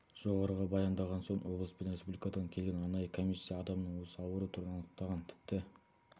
жоғарыға баяндаған соң облыс пен республикадан келген арнайы комиссия адамның осы ауру түрін анықтаған тіпті